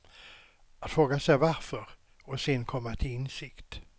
Att fråga sig varför, och sen komma till insikt.